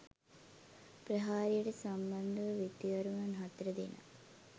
ප්‍රහාරයට සම්බන්ධ වූ විත්තිකරුවන් හතර දෙනා